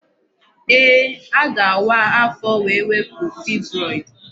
Ee, a ga-awa afọ wee wepụ fibroid.